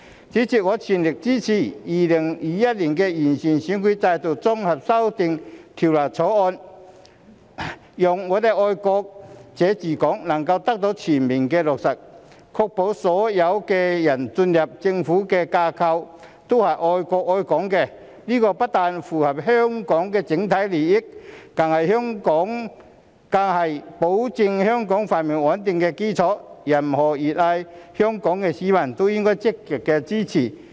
主席，我全力支持《2021年完善選舉制度條例草案》，讓"愛國者治港"能夠得到全面落實，確保所有進入政府架構的人，均是愛國愛港的，這不但符合香港的整體利益，更是保障香港繁榮穩定的基礎，任何熱愛香港的市民也應積極支持。